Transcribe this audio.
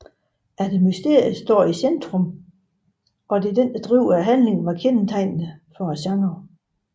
At mysteriet står i centrum og driver handlingen var kendetegnende for genren